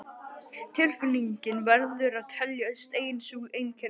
Tilfinningin verður að teljast ein sú einkenni